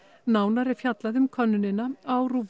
nánar er fjallað um könnunina á